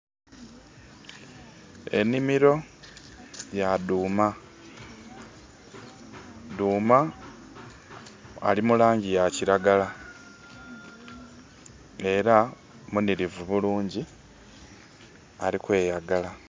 Enhimiro ya dhuuma. Dhuuma ali mu laangi ya kiragala. Era munhirivu bulungi, ali kweyagala.